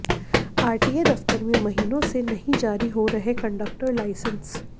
RTA दफ्तर में महीनों से नहीं जारी हो रहे कंडक्टर लाइसेंस